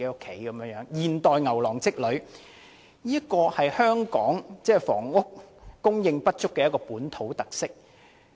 這是現代牛郎織女的故事，是香港房屋供應不足的一項本土特色。